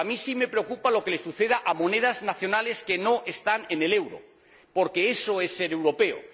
Bueno, pues a mí sí me preocupa lo que le suceda a monedas nacionales que no están en el euro, porque eso es ser europeo.